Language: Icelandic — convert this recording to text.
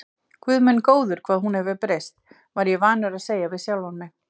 Guð minn góður, hvað hún hefur breyst, var ég vanur að segja við sjálfan mig.